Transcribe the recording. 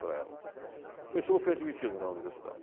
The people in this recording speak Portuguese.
para ela. Por isso eu fui admitido na universidade.